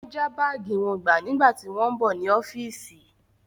Wọ́n já báàgì wọn gbà nígbà tí wọ́n ń bọ̀ ní ọ́fíìsì.